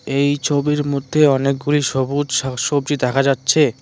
এই ছবির মধ্যে অনেকগুলি সবুজ শাক সবজি দেখা যাচ্ছে।